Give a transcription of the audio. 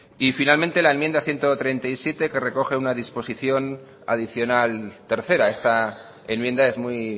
y finalmente la enmienda ciento treinta y siete que recoge una disposición adicional tercera esta enmienda es muy